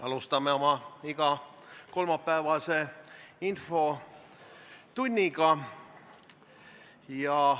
Alustame oma igakolmapäevast infotundi.